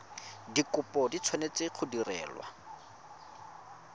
dikopo di tshwanetse go direlwa